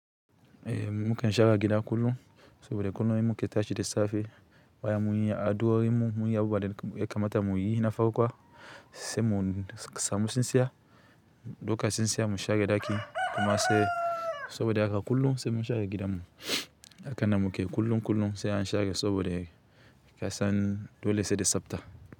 Ehh mu kan share gida kullum, saboda kullum mu ke tashi da safe bayan mun yi addu'o'in mu mun yi abubuwa da ya kamata muyi na farkwa sai mu samu tsintsiya ɗauka tsintsiya mu share ɗaki kuma sai saboda haka kullum sai mun share gidan mu haka nan muke kullum kullum sai an share saboda kasan dole sai da tsafta.